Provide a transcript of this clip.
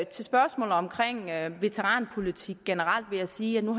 til spørgsmålet om veteranpolitik generelt vil jeg sige at nu